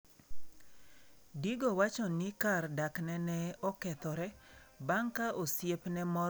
Digo wacho ni kar dakne ne okethore bang' ka osiepne moro ne osepwodhe.